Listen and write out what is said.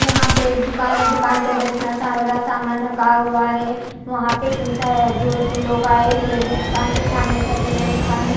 यहाँ पे एक दूकान है दूकान के अंदर इतना सारा सामान रखा हुआ है वहां पे इतने सारे दो तीन लोग आये हुए है दूकान के सामने ठहरे हुए है दूकान में--